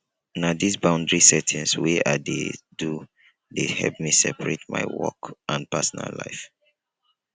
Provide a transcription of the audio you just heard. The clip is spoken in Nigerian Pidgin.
na dis boundary setting wey i dey do dey help me separate my work and personal life